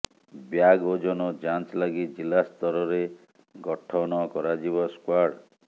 bag ଓଜନ ଯାଞ୍ଚ ଲାଗି ଜିଲ୍ଲା ସ୍ତରରେ ଗଠନ କରାଯିବ ସ୍କ୍ବାଡ୍